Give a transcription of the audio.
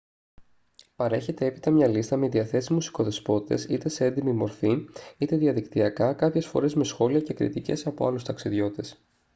παρέχεται έπειτα μια λίστα με διαθέσιμους οικοδεσπότες είτε σε έντυπη μορφή είτε διαδικτυακά κάποιες φορές με σχόλια και κριτικές από άλλους ταξιδιώτες